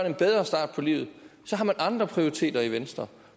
en bedre start på livet har man andre prioriteter i venstre